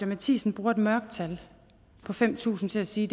matthisen bruger et mørketal på fem tusind til at sige